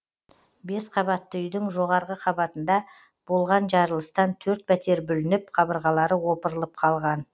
бес қабатты үйдің жоғарғы қабатында болған жарылыстан төрт пәтер бүлініп қабырғалары опырылып қалған